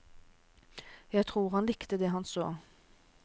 Jeg tror han likte det han så.